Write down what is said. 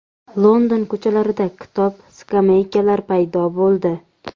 London ko‘chalarida kitob-skameykalar paydo bo‘ldi.